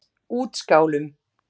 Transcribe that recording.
Útskálum